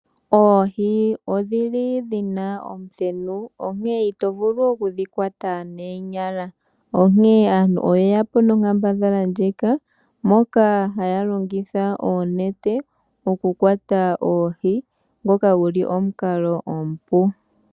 Oohi odhili dhina omuthenu onkene ito vulu oku dhikwata noonyala. Onkene aantu oyeyapo nonkambadhala ndjika moka haya longitha oonete okukwata oohi ngoka guli omukalo omupu.